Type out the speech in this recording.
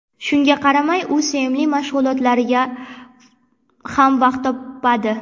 Shunga qaramay, u sevimli mashg‘ulotlariga ham vaqt topadi.